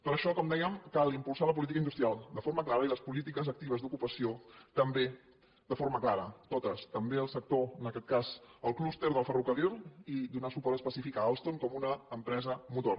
per això com dèiem cal impulsar la política industrial de forma clara i les polítiques actives d’ocupació també de forma clara totes també el sector en aquest cas el clúster del ferrocarril i donar suport específic a alstom com una empresa motor